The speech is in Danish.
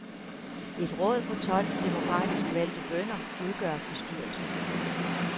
Et råd på tolv demokratisk valgte bønder udgør bestyrelsen.